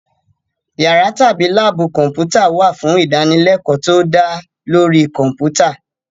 Yàrá tàbí láàbù Kọ̀m̀pútà wà fún ìdánilẹ́kọ̀ọ́ tó dá lórí Kọ̀m̀pútà